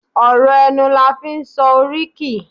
ọrọ ẹnu la fi n sọ oríkì